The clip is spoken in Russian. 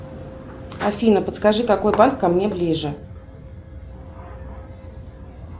афина подскажи какой банк ко мне ближе